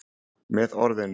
Með orðinu